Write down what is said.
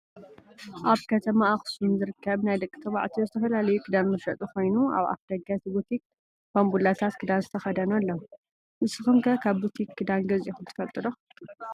ኣብ ከተማ ኣክሱም ዝርከብ ናይ ደቂ ተባዕትዮ ዝተፈላለዩ ክዳን መሸጢ ኮይኑ ኣብ ኣፍደገ እቲ ቡቲክ ባንቡላታት ክዳን ዝተከደኑ ኣለው። ንስኩም ከ ካብ ቡቲክ ክዳን ገዚኢኩም ትፈልጡ ዶ ?